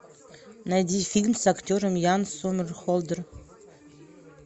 найди фильм с актером ян сомерхолдер